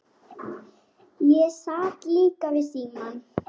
Ég sat líka við símann.